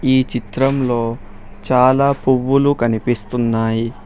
ఈ చిత్రంలో చాలా పువ్వులు కనిపిస్తున్నాయి.